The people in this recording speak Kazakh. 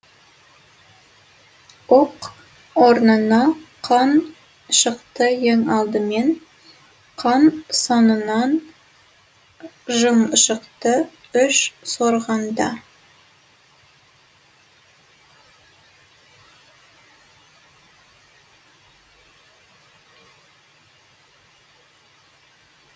оқ орнына қан шықты ең алдымен қан соңынан жын шықты үш сорғанда